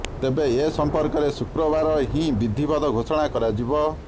ତେବେ ଏ ସମ୍ପର୍କରେ ଶୁକ୍ରକାର ହିଁ ବିଧିବଦ୍ଧ ଘୋଷଣା କରାଯିବ